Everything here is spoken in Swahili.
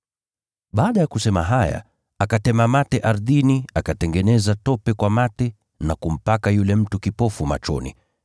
Baada ya kusema haya, akatema mate ardhini, akatengeneza tope kwa mate na kumpaka yule mtu kipofu machoni.